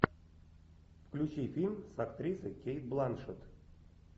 включи фильм с актрисой кейт бланшетт